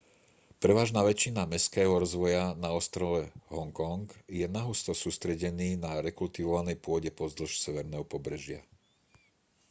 prevažná väčšina mestského rozvoja na ostrove hongkong je nahusto sústredený na rekultivovanej pôde pozdĺž severného pobrežia